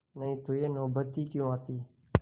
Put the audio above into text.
नहीं तो यह नौबत ही क्यों आती